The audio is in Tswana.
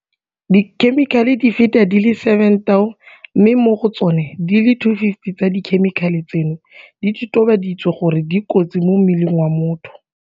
dikhemikhale di feta di le 7 000 mme mo go tsona di le 250 tsa dikhemikhale tseno di totobaditswe gore di kotsi mo mmeleng wa motho.